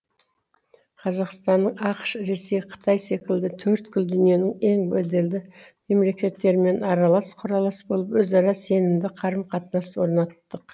қазақстанның ақш ресей қытай секілді төрткүл дүниенің ең беделді мемлекеттерімен аралас құралас болып өзара сенімді қарым қатынас орнаттық